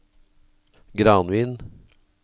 Granvin